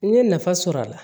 N ye nafa sɔrɔ a la